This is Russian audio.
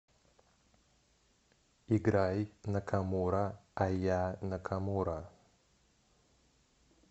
играй накамура айя накамура